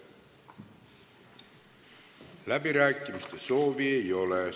Läbirääkimiste soovi ei ole.